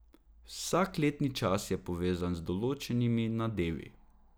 Vsak letni čas je povezan z določenimi nadevi.